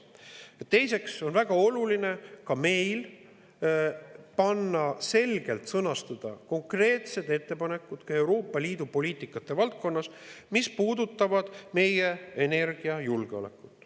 Pealegi on meil väga oluline Euroopa Liidu poliitika valdkonnas selgelt sõnastada konkreetsed ettepanekud, mis puudutavad meie energiajulgeolekut.